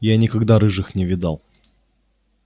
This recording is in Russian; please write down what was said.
я никогда рыжих не видал